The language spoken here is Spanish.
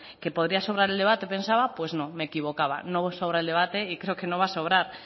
que podría sobrar el debate pensaba pues no me equivocaba no sobra el debate y creo que no va a sobrar